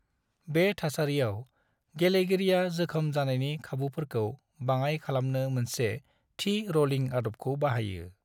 बे थासारियाव, गेलेगिरिया जोखोम जानायनि खाबुफोरखौ बाङाय खालामनो मोनसे थि रलिं आदबखौ बाहायो।